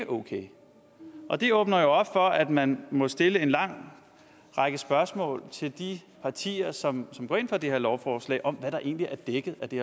okay og det åbner jo op for at man må stille en lang række spørgsmål til de partier som går ind for det her lovforslag om hvad der egentlig er dækket af det